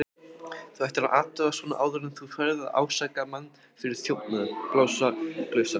Þú ættir að athuga svona áður en þú ferð að ásaka mann fyrir þjófnað, blásaklausan.